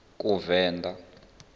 kuvenḓa